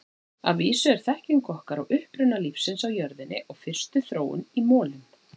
Að vísu er þekking okkar á uppruna lífsins á jörðinni og fyrstu þróun í molum.